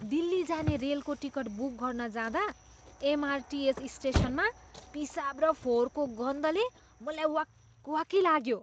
दिल्ली जाने रेलको ticket book गर्न जाँदा एमआरटिएस स्टेसनमा पिसाब र फोहोरको गन्धले मलाई वाकवाकी लाग्यो।